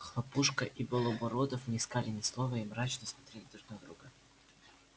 хлопушка и белобородов не сказали ни слова и мрачно смотрели друг на друга